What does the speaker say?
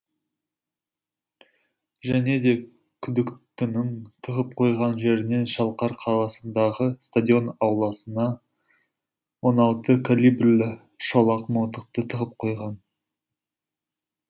және де күдіктінің тығып қойған жерінен шалқар қаласындағы стадион ауласына он алты колибрлі шолақ мылтықты тығып қойған